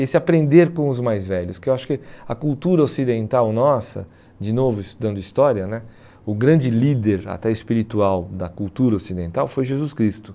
Esse aprender com os mais velhos, que eu acho que a cultura ocidental nossa, de novo estudando história né, o grande líder até espiritual da cultura ocidental foi Jesus Cristo.